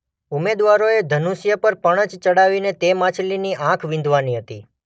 ઉમેદવારોએ ધનુષ્ય પર પણછ ચડાવીને તે માછલીની આંખ વીંધવાની હતી.